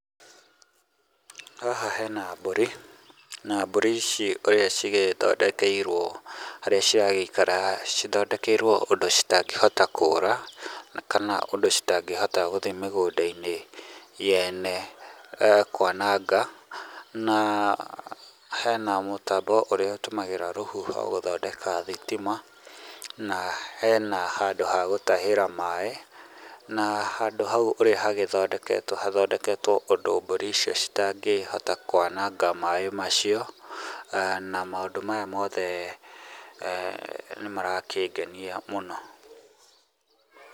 Haha hena mbũri, na mbũri ici ũria cigĩthondekeirwo, harĩa ciragĩikara, cithondekeirwo ũndũ citangĩhota kũra, kana ũndũ citangĩhota gũthiĩ mĩgũnda-inĩ yene, kwananga, na hena mũtambo ũrĩa ũtũmagĩra rũhuho gũthondeka thitima, na hena handũ ha gũtahĩra maĩ, na handũ hau ũrĩa hagĩthondeketwo, hathondeketwo ũndũ mbũri icio citangĩhota kwananga maĩ macio, na maũndũ maya mothe nĩmarakĩngenia mũno.